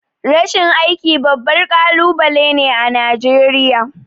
Rashin aiki babbar kalubale ne Najeriya.